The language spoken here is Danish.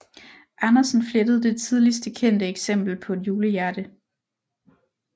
Andersen flettede det tidligste kendte eksempel på et julehjerte